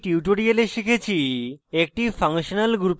সংক্ষেপে এই tutorial শিখেছি